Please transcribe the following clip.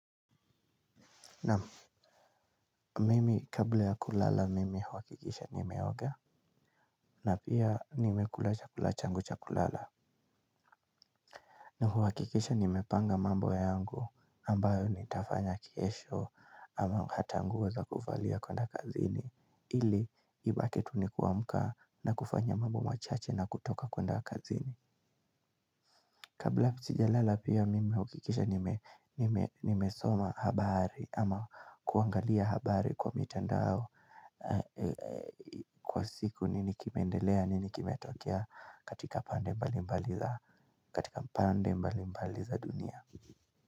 Na mimi kabla ya kulala mimi huhakikisha nimeoga na pia nimekula chakula changu cha kulala. Na huhakikisha nimepanga mambo ya angu ambayo nitafanya kesho ama hata nguo za kuvalia kwenda kazini. Ili ibakie tu ni kuamka na kufanya mambo machache na kutoka kwenda kazini. Kabla sijalala pia nime huhakikisha nimesoma habari ama kuangalia habari kwa mitandao kwa siku nini kimeendelea nini kimetokea katika pande mbali mbali za dunia.